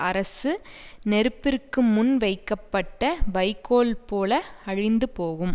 அரசு நெருப்பிற்கு முன் வைக்கப்பட்ட வைக்கோல் போல அழிந்து போகும்